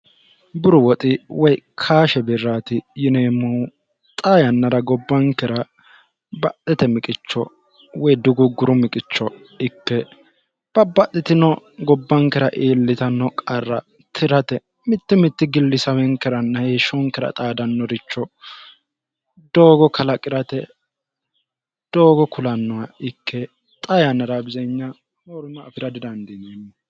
buru woxi woy kaashe birraati yineemmohu xa yannara gobbankera baxxete miqicho woy dugugguru miqicho ikke babbaxxitino gobbankera iillitanno qarra tirate mitte mitti gilli sawenkeranna heeshshonkera xaadannoricho doogo kalaqi'rate doogo kulannoha ikke xa yannara bizenya morm afi'ra didandiinyanno